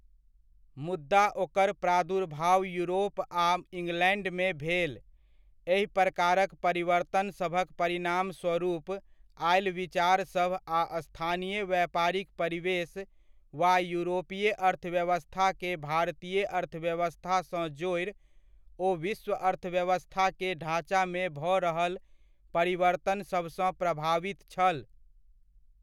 मुद्दा ओकर प्रादुर्भाव यूरोप आ इंग्लैण्डमे भेल, एहि प्रकारक परिवर्तनसभक परिणामस्वरुप आयल विचारसभ आ स्थानीय व्यापारिक परिवेश वा यूरोपीय अर्थव्यवस्था के भारतीय अर्थव्यवस्था सँ जोड़ि ओ विश्व अर्थव्यवस्था के ढाँचा मे भऽ रहल परिवर्तनसभसँ प्रभावित छल।